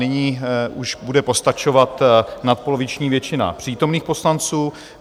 Nyní už bude postačovat nadpoloviční většina přítomných poslanců.